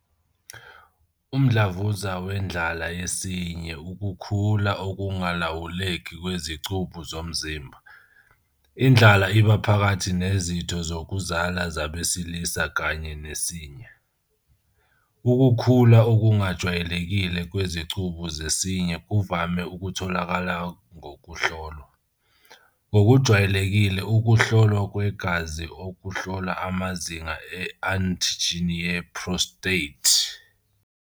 Umdlavuza Wendlala Yesinye Ukukhula okungalawuleki kwezicubu zomzimba, indlala iba phakathi nezitho zokuzala zabesilisa kanye nesinya. Ukukhula okungajwayelekile kwezicubu zesinye kuvame ukutholakala ngokuhlolwa, ngokujwayelekile, ukuhlolwa kwegazi okuhlola amazinga e-antigen ye-prostate, PSA.